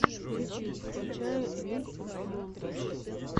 ютуб включай лиг оф монтадж